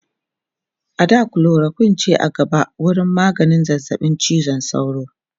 a da chloroquine ce a gaba wurin maganin zazzaɓin cizon sauro